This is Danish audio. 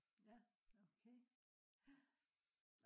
ja okay ja